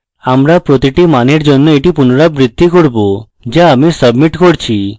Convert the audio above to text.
আমরা প্রতিটি মানের জন্য এটি পুনরাবৃত্তি করব যা আমি submit করছি